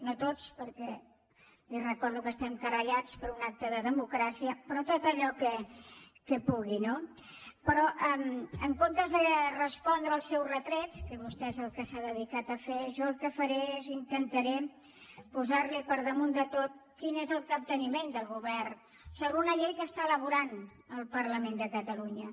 no tots perquè li recordo que estem querellats per un acte de democràcia però tot allò que pugui no però en comptes de respondre els seus retrets que vostè és el que s’ha dedicat a fer jo el que faré és intentar posar li per damunt de tot quin és el capte niment del govern sobre una llei que elabora el parlament de catalunya